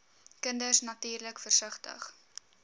kinders natuurlik versigtig